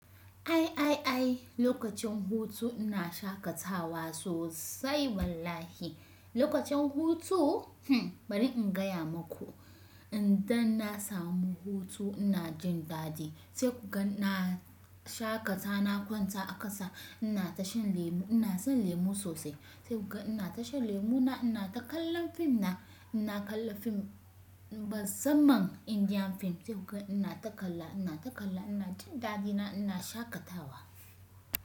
Ai ai ai lokacin hutu ina shakatawa sosai wallahi. Lokacin hutu? Hm bari in gaya maku idan na samu hutu ina jin dadi sai kuga na shakata, na kwanta a ƙasa ina tashan lemu, ina son lemu sosai sai kuga ina tashan lemu na ina ta kallon fim na ina kalla fim, musamman Indian fim sai kuga ina ta kalla ina ta kalla ina jin dadi ina, ina shakatawa.